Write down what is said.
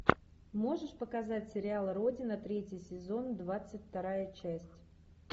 можешь показать сериал родина третий сезон двадцать вторая часть